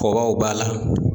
Kɔbaw b'a la